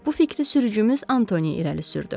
Bu fikri sürücümüz Antoni irəli sürdü.